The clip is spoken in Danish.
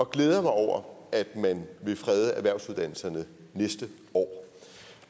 glæder mig over at man vil frede erhvervsuddannelserne næste år